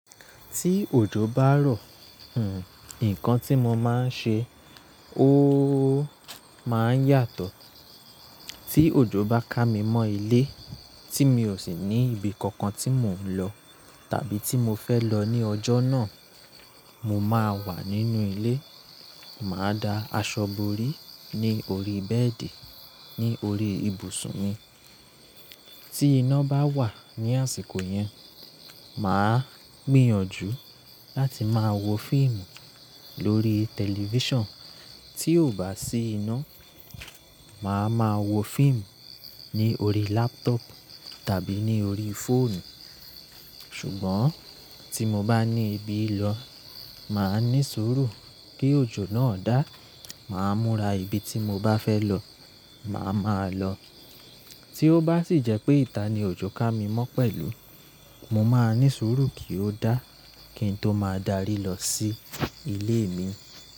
Tí òjò bá rọ, nǹkan tí mo máa ń ṣe ó máa ń yàtọ̀. Tí òjò bá ká mi mọ́ ilé tí mi ò sì ní ibi kankan tí mò ń lọ tàbí tí mo fẹ́ lọ ní ọjọ́ náà, mo máa wà nínú ilé, màá da aṣọ borí ní orí bẹ́ẹ̀dì ní orí ibùsùn mi. Tí iná bá wà ní àsìkò yẹn, màá gbìyànjú láti máa wo fíìmù lórí tẹlifíṣàn. Tí ò bá sí iná, màá ma wo fíìmù ní orí lápútọ̀pù tàbí ní orí fóònù. Ṣùgbọ́n tí mo bá ní ibi lọ, màá ní sùúrù kí òjò náà dá, màá múra ibi tí mo bá fẹ́ lọ, màá ma lọ. Tí ó bá sì jẹ́ pé ìta ni òjò ká mi mọ́ pẹ̀lú, mo máa ní sùúrù kí ó dá kí n tó máa darí lọ sí ilé mi.